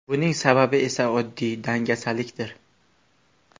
Buning sababi esa oddiy dangasalikdir.